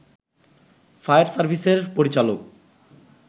fire সার্ভিসের পরিচালক